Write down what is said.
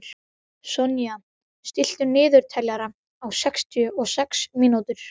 Sonja, stilltu niðurteljara á sextíu og sex mínútur.